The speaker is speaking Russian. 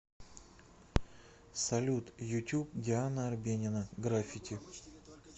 салют ютюб диана арбенина граффити